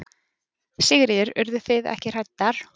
Sigríður: Urðu þið ekki hræddar?